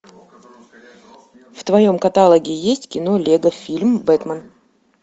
в твоем каталоге есть кино лего фильм бэтмен